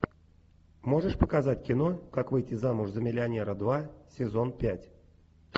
можешь показать кино как выйти замуж за миллионера два сезон пять